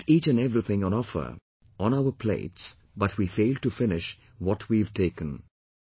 We put each and everything on offer, on our plates, but we fail to finish what we have taken